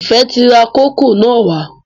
Ifẹ ti rà kókò na wà